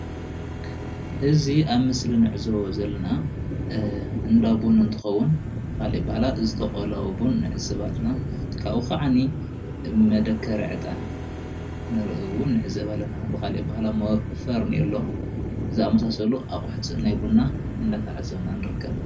እዚ ኣብ ምስሊ እንዕዘቦ ዘለና እንዳቡን እንትከውን ብካሊእ ኣበሃህላ ዝተቆለወ ቡን ንዕዘብ ኣለና ካብኡ ከዓ መደከሪ እጣን እውን ንርኢ ኣለና፡፡ ብካሊእ ኣበሃህላ ከዓ ከም ፈርኔሎ ዝኣምሳሰሉ ኣቁሑት ናይ ቡና እንዳተዓዘብና ንርከብ፡፡